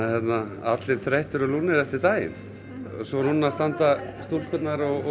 allir þreyttir og lúnir eftir daginn og núna standa stúlkurnar og